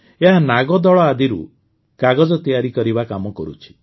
ଏହା ନାଗଦଳ ଆଦିରୁ କାଗଜ ତିଆରି କରିବା କାମ କରୁଛି